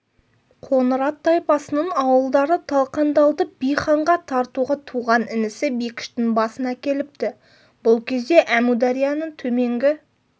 қоңырат тайпасының ауылдары талқандалды би ханға тартуға туған інісі бекіштің басын әкеліпті бұл кезде әмударияның төменгі